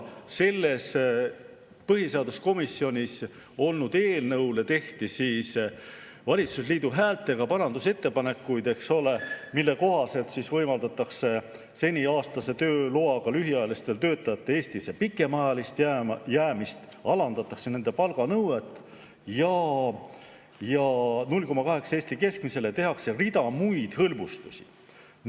Põhiseaduskomisjonis olnud eelnõule tehti valitsusliidu häältega parandusettepanekuid, eks ole, mille kohaselt võimaldatakse seni aastase tööloaga lühiajalistel töötajatel Eestisse pikemaajalist jäämist, alandatakse nende palganõuet 0,8-le Eesti keskmisele ja tehakse rida muid hõlbustusi.